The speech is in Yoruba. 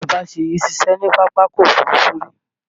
Bàbá Ṣèyí ṣiṣẹ́ ní Pápákọ̀ Òfurufú rí